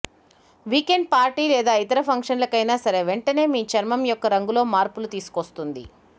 weekend party లేదా ఇతర ఫంక్షన్లకైనా సరే వెంటనే మీ చర్మ యొక్క రంగులో మార్పులు తీసుకొస్తుంది